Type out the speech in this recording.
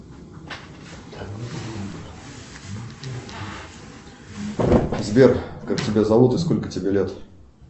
сбер как тебя зовут и сколько тебе лет